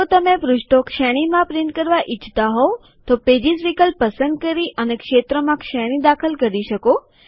જો તમે પૃષ્ઠો શ્રેણીમાં પ્રિન્ટ કરવા ઈચ્છતા હોવ તો પેજીસ વિકલ્પ પસંદ કરી અને ક્ષેત્રમાં શ્રેણી દાખલ કરી શકો